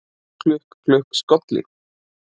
Klukk, klukk, skolli